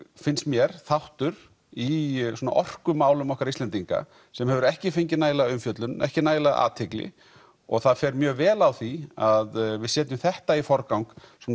finnst mér þáttur í svona orkumálum okkar Íslendinga sem hefur ekki fengið nægilega umfjöllun ekki nægilega athygli og það fer mjög vel á því að við setjum þetta í forgang